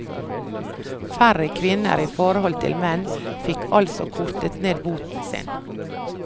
Færre kvinner i forhold til menn fikk altså kortet ned boten sin.